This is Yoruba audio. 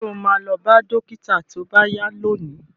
Ṣo ma lọ bá dókítà tó bá yá lónìí?